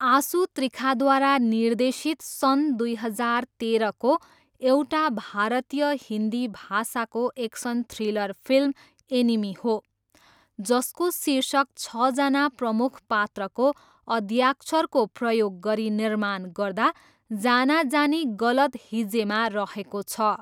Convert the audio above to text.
आसु त्रिखाद्वारा निर्देशित सन् दुई हजार तेह्रको एउटा भारतीय हिन्दी भाषाको एक्सन थ्रिलर फिल्म एनिमी हो, जसको शीर्षक छजना प्रमुख पात्रको अद्याक्षरको प्रयोग गरी निर्माण गर्दा जानाजानी गलत हिज्जेमा रहेको छ।